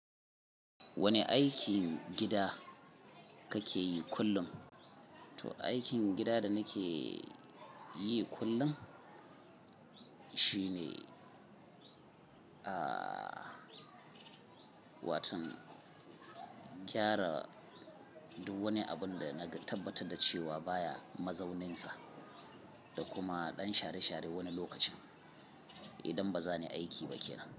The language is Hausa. Wane aikin gida kake yi kullum? To, aikin gida da nake yi kullum shine, ah, watan gyara duk wani abun da na tabbatar da cewa baya mazauninsa da kuma ɗan share-share wani lokacin idan ba zan yi aiki ba kenan.